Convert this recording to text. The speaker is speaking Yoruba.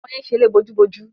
Àwọn ọmọ yẹn ṣeré bojúbojú.